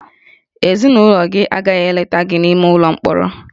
Ezinụlọ gị agaghị eleta gị n'ime ụlọ mkpọrọ